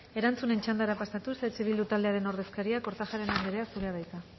erantzunen txandara pasatuz eh bildu taldearen ordezkaria kortajarena andrea zurea da hitza